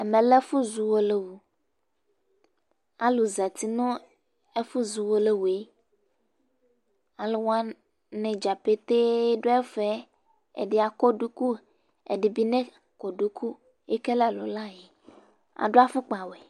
Ɛmɛ lɛ ɛfʋ zɔ UwolowuAlʋ zati nʋ ɛfʋ zɔ Uwolowue, alʋ wanɩ dza petee dʋ ɛfɛ; ɛdɩnɩ akɔ duku, ɛdɩ bɩ n' akɔ duku ekele ɛlʋ la yɛAdʋ afʋkpa wɛ